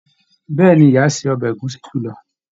Bẹẹni, ìyá ṣe ọbẹ ẹ̀gúsí julọ.